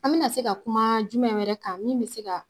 An bɛna se ka kuma jumɛn wɛrɛ kan min bɛ se ka.